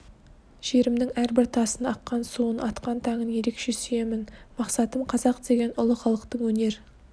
жерімнің әрбір тасын аққан суын атқан таңын ерекше сүйемін мақсатым қазақ деген ұлы халықтың өнер